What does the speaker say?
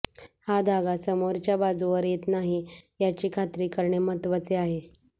हा धागा समोरच्या बाजूवर येत नाही याची खात्री करणे महत्वाचे आहे